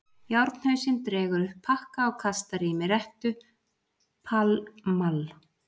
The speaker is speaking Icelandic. Járnhausinn dregur upp pakka og kastar í mig rettu: Pall Mall.